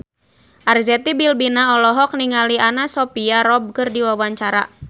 Arzetti Bilbina olohok ningali Anna Sophia Robb keur diwawancara